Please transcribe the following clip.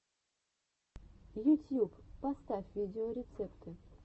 ютьюб поставь видеорецепты